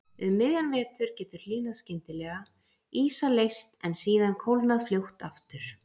Um miðjan vetur getur hlýnað skyndilega, ísa leyst en síðan kólnað fljótt aftur.